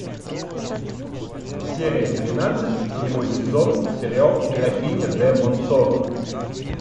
серия тринадцать седьмой сезон сериал графиня де монсоро